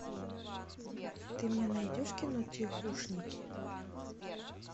ты мне найдешь кино тихушники